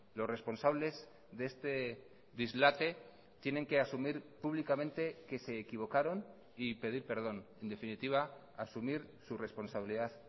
los responsables de este dislate tienen que asumir públicamente que se equivocaron y pedir perdón en definitiva asumir su responsabilidad